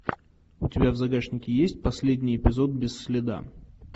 у тебя в загашнике есть последний эпизод без следа